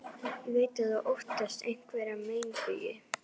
Ég veit að þú óttast einhverja meinbugi.